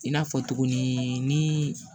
I n'a fɔ tuguni ni